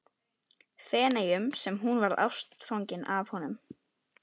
Feneyjum sem hún varð ástfangin af honum.